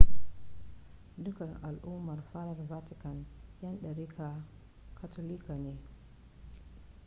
dukkan al'ummar fadar vatican 'yan dariƙar katolika ne